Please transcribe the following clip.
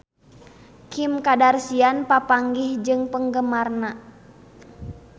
Kim Kardashian papanggih jeung penggemarna